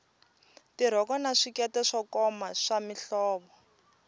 tirhoko na swikete swo koma swa mihlovo